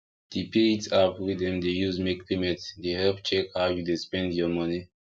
the paylt app wey dem dey use make payment dey help check how you dey spend your money